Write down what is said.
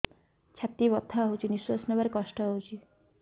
ଛାତି ବଥା ହଉଚି ନିଶ୍ୱାସ ନେବାରେ କଷ୍ଟ ହଉଚି